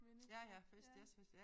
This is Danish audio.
Mindes jeg ja